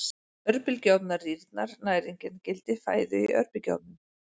Örbylgjuofnar Rýrnar næringargildi fæðu í örbylgjuofnum?